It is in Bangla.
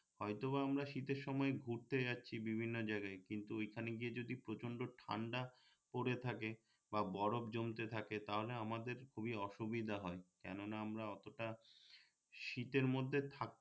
হয়তোবা আমরা শীতের সময় ঘুরতে যাচ্ছি বিভিন্ন জায়গায় কিন্ত ঐখানে গিয়ে যদি প্রচন্ড ঠান্ডা পরে থাকে বা বরফ জমতে থাকে তাহলে আমাদের খুবই অসুবিধা হয় কেননা আমরা অতটা শীতের মধ্যে থাকতে